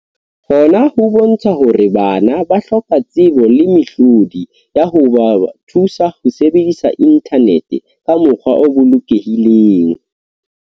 Hona ho bontsha hore bana ba hloka tsebo le mehlodi ya ho ba thusa ho sebedisa inthanete ka mokgwa o bolokelehileng.